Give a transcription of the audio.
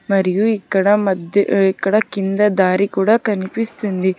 మరియు ఇక్కడ మధ్య ఇక్కడ కింద దారి కూడా కనిపిస్తూ ఉంది.